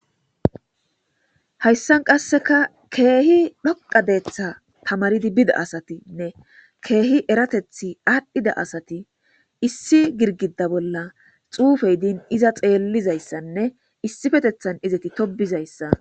hayssan qasseka keehi dhoqadeetha tamaridi bida asatinne keehi eratethi aadhdhida asati issi girgida bolla xuufey din iza xeellizayssanne issifetethan izati tobizayssa be'asi